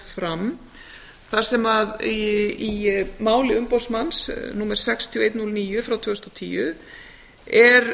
fram þar sem í máli umboðsmanns númer sex þúsund eitt hundrað og níu tvö þúsund og tíu er um að